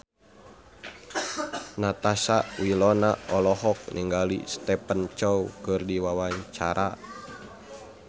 Natasha Wilona olohok ningali Stephen Chow keur diwawancara